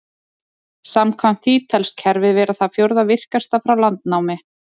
Samkvæmt því telst kerfið vera það fjórða virkasta frá landnámi.